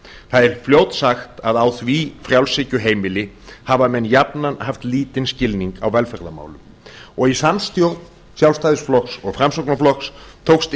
það er fljótsagt að á því frjálshyggjuheimili hafa menn jafnan haft lítinn skilning á velferðarmálum og í samstjórn sjálfstæðisflokks og framsóknarflokks tókst